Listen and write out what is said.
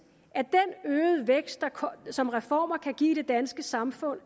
at den øgede vækst som reformer kan give i det danske samfund